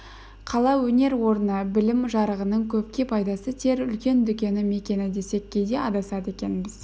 қала өнер орны білім жарығының көпке пайдасы тиер үлкен дүкені мекені десек кейде адасады екенбіз